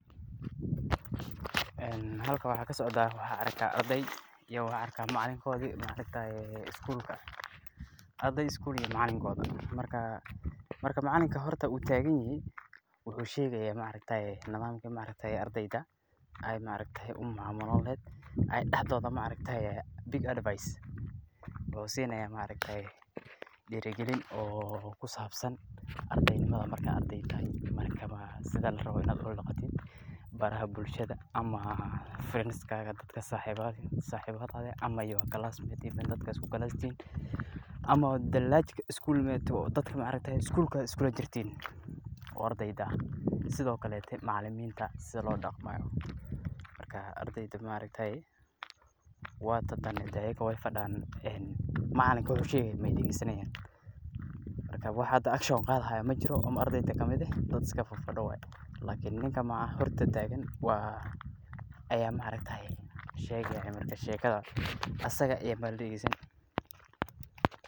Halkan waxaa kasocdaa, waxaan arkaa ardeey iyo macalinkoodi, ardeey iskuul iyo macalinkoodi, marka macalinka wuu taagan yahay wuxuu usheegaya nidaamka ardeyda ayaga dexdooda, wuxuu siinaya advice iyo diiri galin, markaad ardeey tahay sida larabo inaad oola daqatid baraha bulshada ama friends dadka saxibadada eh ama classmates dadka aad isku fasalka tihiin, ama dadka aad iskuulka iskula jirtiin oo ardeyda ah, sido kaleete macalimiinta sida loola daqmo, marka ardeyda waay fadiyaan macalinka wuxuu sheegayo ayeey daheesani haayan, marka hada wax action qaadi haayo majiro oo ardeyda kamid ah, waa dad iska fadiyo, ninka hor taagan ayaa sheegaya sheekada, asaga ayaa ladageesani haaya.